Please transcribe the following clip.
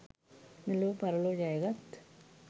මෙලොව පරලොව ජයගත්